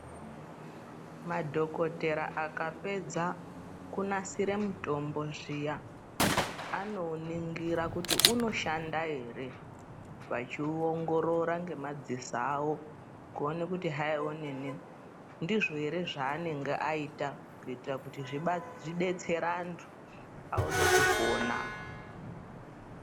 Madhokodhera akapedza kunasire mitombo zviya ano uningira kuti unoshanda here vachi ongorora ngemadziso avo kuone kuti hayi onini ndizvo heree zvaanenge aita kuitira kuti zvidetsere antu aone kupona.